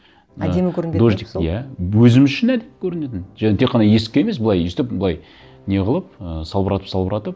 әдемі мына дождик иә өзіміз үшін әдемі көрінетін және тек қана есікке емес былай өйстіп былай не қылып ыыы салбыратып салбыратып